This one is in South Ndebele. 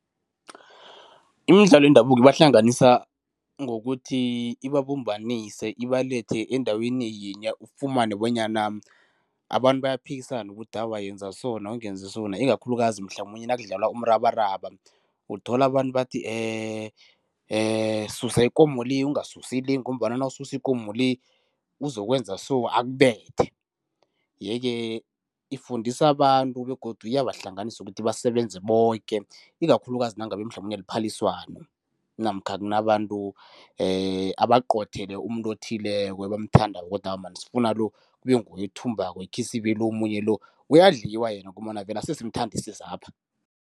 Imidlalo yendabuko ibahlanganisa ngokuthi ibabumbanise, ibalethe endaweni yinye. Ufumane bonyana abantu bayaphikisana ukuthi awa, yenza sona ungenzi sona, ikakhulukazi mhlamunye nakudlalwa umrabaraba. Uthola abantu bathi susa ikomo le, ungasusi le ngombana nawusisa ikomo le, ukuzokwenza so akubethe yeke ifundisa abantu begodu iyabahlanganisa ukuthi basebenze boke ikakhulukazi nangabe mhlamunye liphaliswano namkha kunabantu abaqothele umuntu othileko ebamthandako ukuthi awa man sifuna lo kube nguye othumbako ikhisibe lo omunye lo uyadliwa yena ngombana vele ase asimthandisisapha.